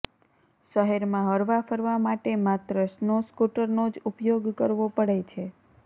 શહેરમાં હરવાફરવા માટે માત્ર સ્નો સ્કૂટરનો જ ઉપયોગ કરવો પડે છે